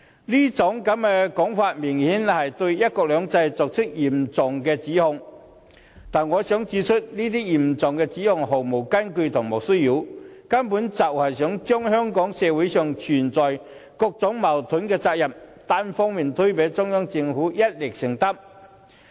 這種說法明顯是對"一國兩制"作出嚴重指控，但我想指出這些嚴重指控毫無根據，是莫須有之罪，根本就是想把香港社會上存有各種矛盾的責任，單方面推給中央政府，要它一力承擔。